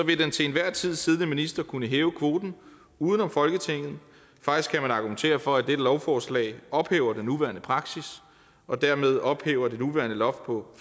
vil den til enhver tid siddende minister kunne hæve kvoten uden om folketinget faktisk kan man argumentere for at dette lovforslag ophæver den nuværende praksis og dermed ophæver det nuværende loft på